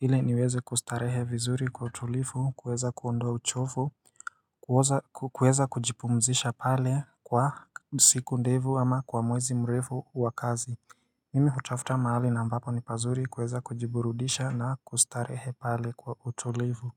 ile niweze kustarehe vizuri kwa tulifu kuweza kuondoa uchovu kuweza kujipumzisha pale kwa siku ndevu ama kwa mwezi mrefu wa kazi Mimi hutafuta mahali na ambapo ni pazuri kuweza kujiburudisha na kustarehe pale kwa utulivu.